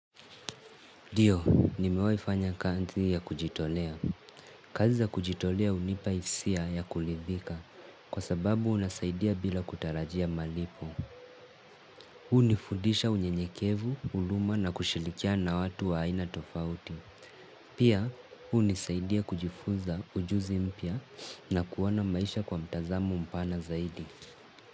Ndio nimewahi fanya kazi ya kujitolea. Kazi za kujitolea hunipa hisia ya kuridhika kwa sababu unasaidia bila kutarajia malipo. Hunifudisha unyenyekevu, huruma na kushirikiana watu wa aina tofauti. Pia, hunisaidia kujifuza ujuzi mpya na kuona maisha kwa mtazamo mpana zaidi.